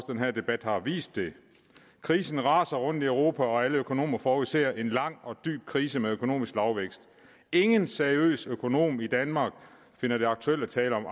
den her debat har vist det krisen raser rundt europa og alle økonomer forudser en lang og dyb krise med økonomisk lavvækst ingen seriøs økonom i danmark finder det aktuelt at tale om